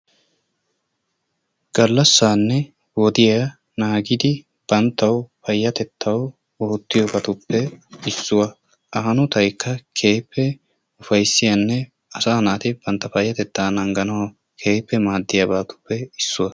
Gallasaanne wodiya naagidi banttawu payatettawu oottiyobatuppe issuwa.A hanotaykka keehiipe ufayssiyanne asaa naati bantta payatettaa nanganawu keehippe maddiyabatuppe issuwa.